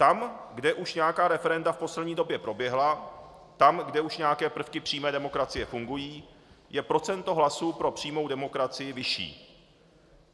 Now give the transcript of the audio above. Tam, kde už nějaká referenda v poslední době proběhla, tam, kde už nějaké prvky přímé demokracie fungují, je procento hlasů pro přímou demokracii vyšší.